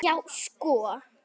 Já, sko!